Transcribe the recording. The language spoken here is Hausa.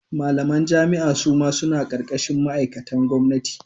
Malamai jami'a suma suna karkashin ma'aikatan gwamnati.